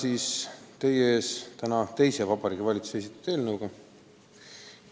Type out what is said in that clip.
Olen teie ees täna teise Vabariigi Valitsuse esitatud eelnõuga.